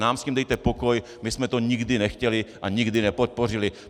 Nám s tím dejte pokoj, my jsme to nikdy nechtěli a nikdy nepodpořili!